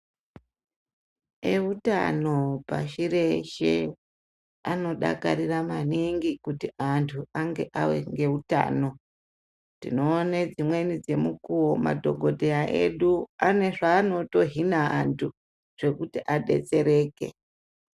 Ehutano pashi reshe, anodakarira maningi kuti antu ange awenehutano . Tinowone dzimweni dzemukuwo madhokodheya edu anezvanotohhina antu zvekuti adetsereke.